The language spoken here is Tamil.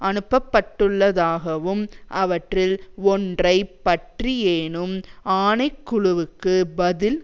அனுப்பப்பட்டுள்ளதாகவும் அவற்றில் ஒன்றை பற்றியேனும் ஆணைக்குழுவுக்கு பதில்